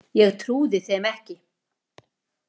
Ég trúði þeim ekki.